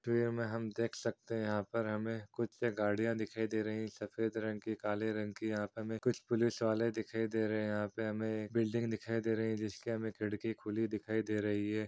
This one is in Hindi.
हम देख सकते है यहा पर हमे कुछ से गड़िया दिखाई दे रही सफेद रंग की काले रंग की। यहा पे हमे कुछ पुलिस वाले दिखाई दे रहे है यहा पे हमे एक बिल्डिंग दिखाई दे रही है जिसकी हमे खिड़की खुली दिखाई दे रही है।